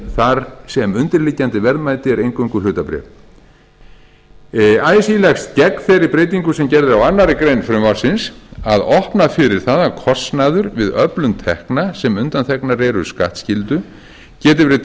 þar sem undirliggjandi verðmæti eru eingöngu hlutabréf así leggst gegn þeirri breytingu sem gerð er á annarri grein frumvarpsins að opna fyrir það að kostnaður við öflun tekna sem undanþegnar eru skattskyldu geti verið